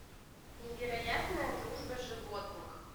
невероятная дружба животных